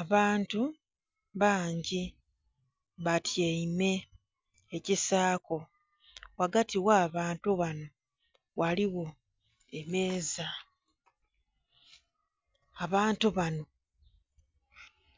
Abantu bangi batyaime ekisaako, ghagati ghabantu bano ghaligho emeeza, abantu bano